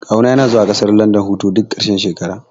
Kawu na yana zuwa ƙasar landan hutu duk ƙarshen shekara